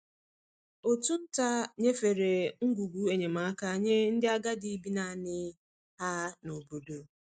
Òtù nta nyefere ngwugwu enyemaka nye ndị agadi bi naanị ha n’obodo.